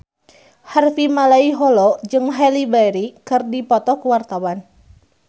Harvey Malaiholo jeung Halle Berry keur dipoto ku wartawan